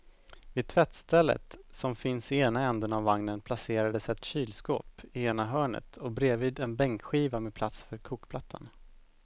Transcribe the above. Vid tvättstället som finns i ena ändan av vagnen placerades ett kylskåp i ena hörnet och bredvid en bänkskiva med plats för kokplattan.